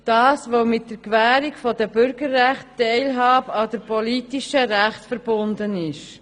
Dies, weil mit der Gewährung der Bürgerrechte die Teilhabe an den politischen Rechten verbunden ist.